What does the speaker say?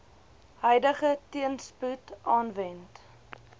huidige teenspoed aanwend